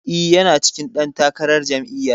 E, yana cikin ɗan takarar jami'yar.